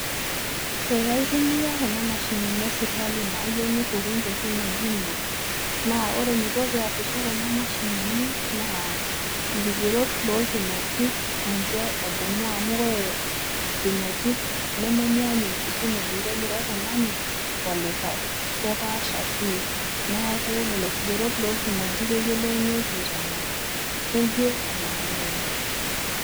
Eeh aitumia kuna mashinini eserkali nayeu nitukuny tolkimojino naa ore eneiko peasisho kuna mashinini, ilkigerot lolkimojik ninche edumu amu ore ilkimojik, nemenyaanyuk ilkimojik le likai tung'ani o likai. Kepaasha pii, neaku lelo kigerot lolkimojik ninche eyiolounyieki tenaa keyie anaa meeyie.